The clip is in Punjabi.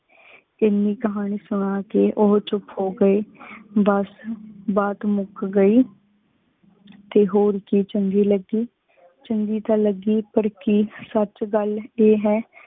ਇਨੀ ਕਹਾਨੀ ਸੁਨਾ ਕੀ ਓਹੋ ਚੁਪ ਹੋ ਗਏ। ਬਸ ਬਾਤ ਮੁਕ ਗਈ, ਤੇ ਹੋਰ ਕੀ ਚੰਗੀ ਲਗੀ? ਚੰਗੀ ਤਾ ਲੱਗੀ ਪਰ ਕਿ ਸਚ ਗਲ ਏ ਹੈ